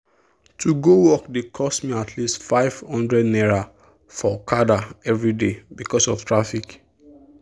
to go work dey cost me at least ₦500 for okada every day because of traffic.